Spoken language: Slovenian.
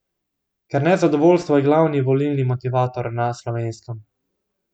Ker nezadovoljstvo je glavni volilni motivator na Slovenskem.